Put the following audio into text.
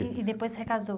E e depois se recasou?